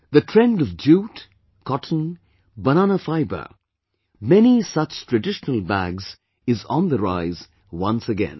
The trend of jute, cotton, banana fibre, many such traditional bags is on the rise once again